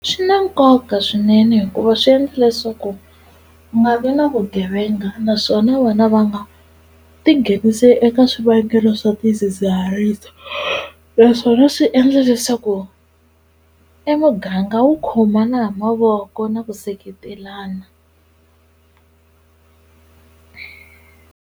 Swi na nkoka swinene hikuva swi endla leswaku ku nga vi na vugevenga naswona vana va nga ti nghenisi eka swivangelo swa tidzidziharisi naswona swi endla leswaku e muganga wu khomana ha mavoko na ku seketelana.